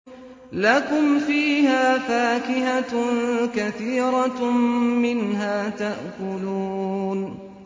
لَكُمْ فِيهَا فَاكِهَةٌ كَثِيرَةٌ مِّنْهَا تَأْكُلُونَ